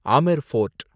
Amer fort